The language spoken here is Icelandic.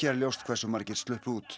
er ljóst hversu margir sluppu út